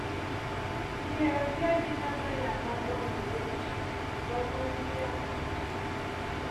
Mbịarambịa gị n’amaghị àmà gbanwere ụbọchị nkịtị ka ọ bụrụ ìhè a ga na-echeta.